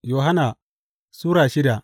Yohanna Sura shida